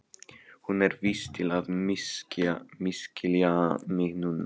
Hún er vís til að misskilja mig núna.